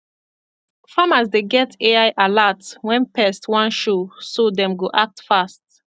farmers dey get ai alert when pest wan show so dem go act fast